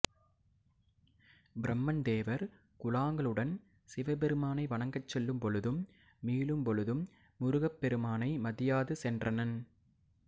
பிரமன் தேவர் குழாங்களுடன் சிவபிரானை வணங்கச் செல்லும்பொழுதும் மீளும் பொழுதும் முருகப் பெருமானை மதியாது சென்றனன்